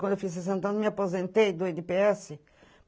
Quando eu fiz sessenta anos, me aposentei do ene pê esse